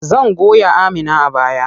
Zan goya Amina a baya.